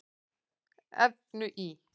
efnu í